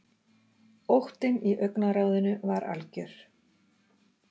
Óttinn í augnaráðinu var algjör.